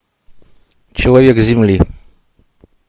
человек земли